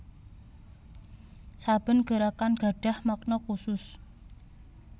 Saben gerakan gadhah makna khusus